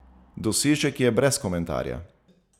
Dosežek je brez komentarja!